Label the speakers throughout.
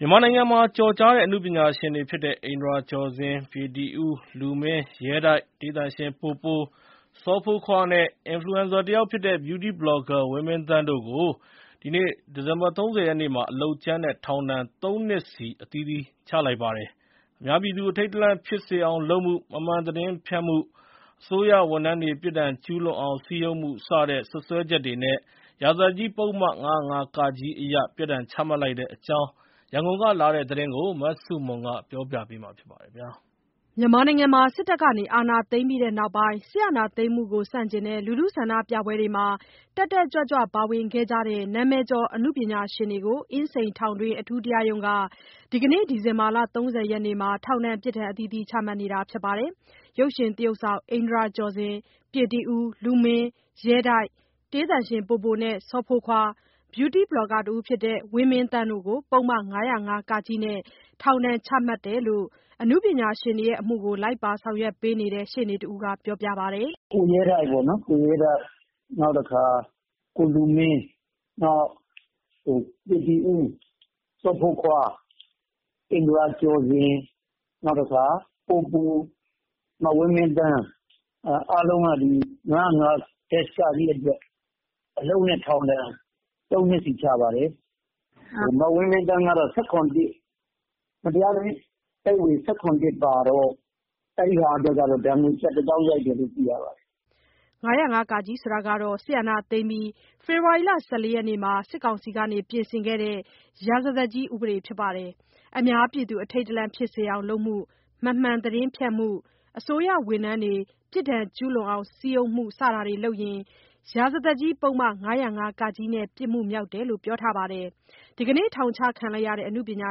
Speaker 1: မြန်မာနိုင်ငံမှာ ကျော်ကြားတဲ့ အနုပညာရှင်တွေဖြစ်ကြတဲ့ အိန္ဒြာကျော်ဇင်၊ ပြေတီဦး၊ လူမင်း၊ ရဲတိုက်၊ တေးသံရှင်ပိုပို၊ စောဖိုးခွားနဲ့ Influencer တယောက်ဖြစ်တဲ့ Beauty Blogger ဝင်းမင်းသန်းတို့ကို ဒီနေ့ ဒီဇင်ဘာ ၃၀ ရက်မှာ အလုပ်ကြမ်းနဲ့ ထောင်ဒဏ် ၃ နှစ်စီ အသီးသီး ချလိုက်ပါတယ်။ အများပြည်သူ အထိတ်တလန့်ဖြစ်စေအောင်လုပ်မှု၊ မမှန်သတင်းဖြန့်မှု၊ အစိုးရဝန်ထမ်းတွေ ပြစ်ဒဏ်ကျူးလွန်အောင် စည်းရုံးမှု စတဲ့ စွပ်စွဲချက်တွေနဲ့ ရာဇသတ်ကြီးပုဒ်မ ၅၀၅-က အရ ပြစ်ဒဏ်ချလိုက်တဲ့အကြောင်း ရန်ကုန်ကလာတဲ့သတင်းကို မဆုမွန်က တင်ပြပေးထားပါတယ်။
Speaker 2: စစ်တပ်က အာဏာသိမ်းပြီးနောက်ပိုင်း စစ်အာဏာသိမ်းမှုကိုဆန့်ကျင်တဲ့ ဆန္ဒပြပွဲတွေမှာ တက်တက်ကြွကြွပါဝင်ခဲ့ကြတဲ့ နာမည်ကျော်အနုပညာရှင်တွေကို အင်းစိန်ထောင်တွင်း အထူးတရားရုံးက ဒီနေ့ဒီဇင်ဘာ ၃၀ ရက်မှာ ထောင်ဒဏ်ပြစ်ဒဏ်တွေ ချလိုက်တာပါ။ ရုပ်ရှင်သရုပ်ဆောင် အိန္ဒြာကျော်ဇင်၊ ပြေတီဦး၊ လူမင်း၊ ရဲတိုက်၊ တေးသံရှင် ပိုပိုနဲ့ စောဖိုးခွား၊ Beauty Blogger ဝင်းမင်းသန်းတို့ကို ပုဒ်မ ၅၀၅-က နဲ့ ထောင်ဒဏ်ချလိုက်တယ်လို့ အနုပညာရှင်တွေရဲ့ အမှုတွေကို လိုက်ပါဆောင်ရွက်ပေးနေတဲ့ ရှေ့နေတဦးက ပြောပါတယ်။
Speaker 3: “ကိုရဲတိုက်၊ နောက် ကိုလူမင်း၊ နောက် ပြေတီဦး၊ အိန္ဒြာကျော်ဇင်၊ စောဖိုးခွား၊ ပိုပို၊ ဝင်းမင်းသန်း အားလုံးက ၅၀၅-က အတွက် အလုပ်နဲ့ ထောင်ဒဏ် ၃ နှစ်စီချပါတယ်။ မဝင်းမင်းသန်းကတော့ မတရားအသင်းဥပဒေ ၁၇ ပါတော့ အဲ့ဒါအတွက်တော့ ဒဏ်ငွေ ကျပ်တသောင်း ရိုက်တယ်လို့ သိရပါတယ်။
Speaker 2: ” ၅၀၅-က ကတော့ စစ်အာဏာသိမ်းပြီး ဖေဖော်ဝါရီလ ၁၄ ရက်နေ့မှာ စစ်ကောင်စီက ပြင်ဆင်ခဲ့တဲ့ ရာဇသတ်ကြီးဥပဒေဖြစ်ပါတယ်။ အများပြည်သူ အထိတ်တလန့်ဖြစ်စေအောင်လုပ်မှု၊ မမှန်သတင်းဖြန့်မှု၊ အစိုးရဝန်ထမ်းတွေ ပြစ်ဒဏ်ကျူးလွန်အောင်စည်းရုံးမှု စတာတွေလုပ်ရင် ရာဇသတ်ကြီးပုဒ်မ ၅၀၅-က နဲ့ ပြစ်မှုမြောက်တယ်လို့ ပြောထားပါတယ်။ ဒီနေ့ ထောင်ချခံရတဲ့ အနုပညာ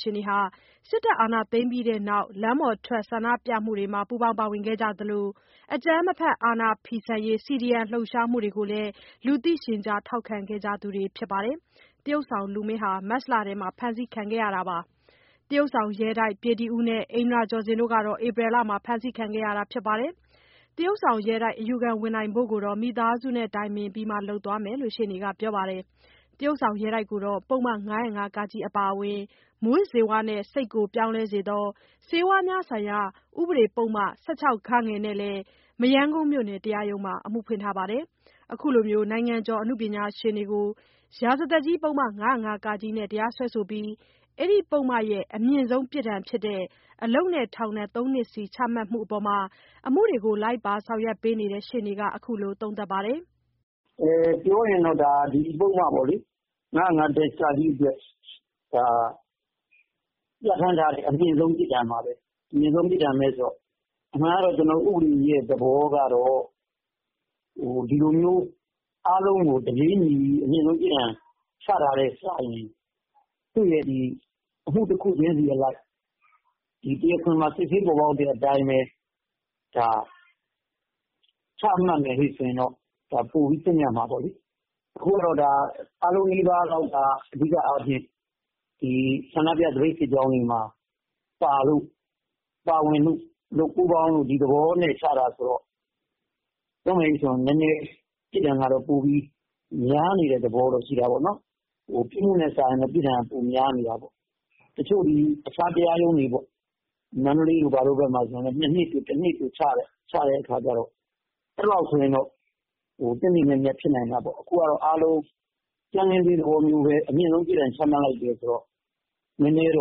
Speaker 2: ရှင်တွေဟာ စစ်တပ်အာဏာသိမ်းပြီးနောက် လမ်းပေါ်ထွက်ဆန္ဒပြမှုတွေမှာ ပါဝင်ခဲ့ကြသလို အကြမ်းမဖက် အာဏာဖီဆန်တဲ့ CDM လှုပ်ရှားမှုတွေကိုလည်း လူသိရှင်ကြား ထောက်ခံခဲ့ကြသူတွေဖြစ်ပါတယ်။ သရုပ်ဆောင် လူမင်းက မတ်လမှာ ဖမ်းဆီးခံရပြီး သရုပ်ဆောင် ရဲတိုက်၊ ပြေတီဦးနဲ့ အိန္ဒြာကျော်ဇင်တို့က ဧပြီလမှာ ဖမ်းဆီးခံခဲ့ကြရတာဖြစ်ပါတယ်။ သရုပ်ဆောင်ရဲတိုက် အယူခံဝင်ဖို့ကိုတော့ မိသားစုနဲ့တိုင်ပင်ပြီးမှ လုပ်သွားမယ်လို့ ရှေ့နေကပြောပါတယ်။ သရုပ်ဆောင်ရဲတိုက်ကို ပုဒ်မ ၅၀၅-က အပြင် မူးယစ်ဆေးဝါးနဲ့ စိတ်ကိုပြောင်းလဲစေသော ဆေးဝါးများဆိုင်ရာ ဥပဒေပုဒ်မ ၁၆ နဲ့လည်း မရမ်းကုန်းမြို့နယ် တရားရုံးမှာ အမှုဖွင့်ထားပါတယ်။ အခုလို နိုင်ငံကျော် အနုပညာရှင်တွေကို ရာဇသတ်ကြီးပုဒ်မ ၅၀၅-က နဲ့ တရားစွဲဆိုပြီး ဒီပုဒ်မရဲ့ အမြင့်ဆုံးပြစ်ဒဏ်ဖြစ်တဲ့ အလုပ်နဲ့ ထောင်ဒဏ် ၃ နှစ်စီ ချမှတ်မှုအပေါ် အမှုတွေကို လိုက်ပါဆောင်ရွက်ပေးနေတဲ့ ရှေ့နေက ခုလို သုံးသပ်ပါတယ်
Speaker 3: ။ “ပြောရရင်တော့ ဒီပုဒ်မ ၅၀၅-က အတွက် ပြဌာန်းထားတဲ့ အမြင့်ဆုံးပြစ်ဒဏ်ပါပဲ။ အမြင့်ဆုံးပြစ်ဒဏ်ပဲဆိုတော့ အမှန်က ဥပဒေကတော့ ဒီလိုမျိုး အားလုံးကို တပြေးညီ အမြင့်ဆုံးပြစ်ဒဏ်ချတာထက်စာရင် သူ့ရဲ့ အမှုတခုချင်းစီအလိုက် တရားခွင်မှာ စစ်ဆေးပေါ်ပေါက်တဲ့အတိုင်းပဲ ချမှတ်မယ် ဆိုရင်တော့ ပိုပြီး သင့်မြတ်မှာပေါ့လေ။ အခုက ဒါ အားလုံးနီးပါးကတော့ အဓိကအားဖြင့် ဆန္ဒပြ သပိတ်စစ်ကြောင်းတွေမှာ ပါဝင်လို့ ပူးပေါင်းလို့ ဒီသဘောနဲ့ ချတာဆိုတော့ ပြောရမယ်ဆို ဒီပြစ်ဒဏ်ကတော့ နည်းနည်းများနေတဲ့သဘော ရှိတာပေါ့နော်။ ပြစ်မှုနဲ့စာရင် ပြစ်ဒဏ်က ပိုများနေတာပေါ့။ တချို့ အခြားတရားရုံးတွေ မန္တလေးတို့ ဘာတို့မှာဆိုလည်း ၁ နှစ်တို့၂ နှစ်တို့ ချတယ်။ အဲ့လောက်ဆိုရင်တော့ သင့်သင့်မြတ်မြတ်ဖြစ်နိုင်တာပေါ့။ အခုကတော့ ကြမ်းခင်းဈေးသဘောမျိုးပဲ အမြင့်ဆုံး ပြစ်ဒဏ်ချလိုက်တယ်ဆိုတော့ ပြစ်ဒဏ်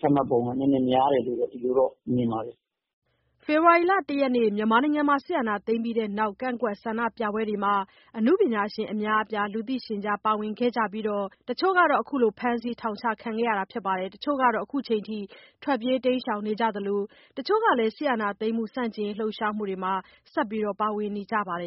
Speaker 3: ချမှတ်ပုံက နည်းနည်းတော့ များတယ်လို့ အဲ့လိုတော့ မြင်တာပေါ့။” ဖေဖော်ဝ
Speaker 2: ါရီလ ၁ ရက်နေ့မှာ စစ်အာဏာသိမ်းပြီးတဲ့နောက် ကန့်ကွက်ဆန္ဒပြပွဲတွေမှာ အနုပညာရှင် အများအပြား လူသိရှင်ကြား ပါဝင်ခဲ့ကြပြီး တချို့က ခုလို ဖမ်းဆီးထောင်ချခံရပြီးတော့ တချို့ က ခုချိန်ထိ ထွက်ပြေးတိမ်းရှောင်နေသလို တချို့ကလည်း စစ်အာဏာသိမ်းမှု ဆန့်ကျင်ရေးလှုပ်ရှားမှုမှာ ဆက်ပြီး ပါဝင်နေကြပါတယ်